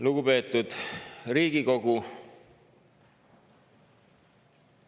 Lugupeetud Riigikogu!